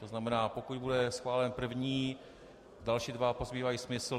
To znamená, pokud bude schválen první, další dva pozbývají smysl.